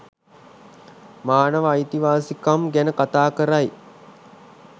මානව අයිතිවාසිකම් ගැන කථා කරයි.